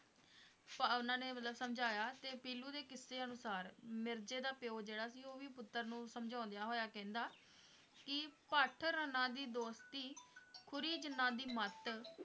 ਪ~ ਉਹਨਾਂ ਨੇ ਮਤਲਬ ਸਮਝਾਇਆ ਤੇ ਪੀਲੂ ਦੇ ਕਿੱਸੇ ਅਨੁਸਾਰ ਮਿਰਜ਼ੇ ਦਾ ਪਿਓ ਜਿਹੜਾ ਸੀ ਉਹ ਵੀ ਪੁੁੱਤਰ ਨੂੰ ਸਮਝਾਉਂਦਿਆਂ ਹੋੋੋਇਆ ਕਹਿਦਾ ਕਿ ਭੱਠ ਰੰਨਾਂ ਦੀ ਦੋਸਤੀ ਖੁੁੁਰੀ ਜਿਨ੍ਹਾਂ ਦੀ ਮੱਤ,